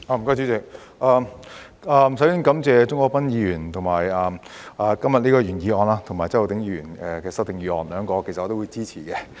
代理主席，首先感謝鍾國斌議員今天提出原議案及周浩鼎議員提出修正案，兩項我也會支持。